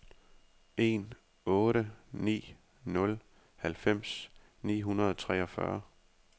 en otte ni nul halvfems ni hundrede og treogfyrre